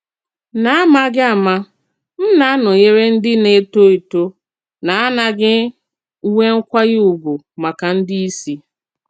N'àmàghì àmá, m na-anọ̀nyere ndí na-ètò ètò na-anàghì nwè nkwànyè ùgwù màkà ndí ìsì.